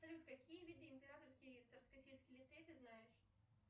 салют какие виды императорский царскосельский лицей ты знаешь